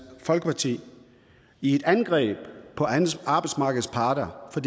folkeparti i et angreb på arbejdsmarkedets parter for